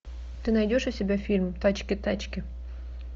ты найдешь у себя фильм тачки тачки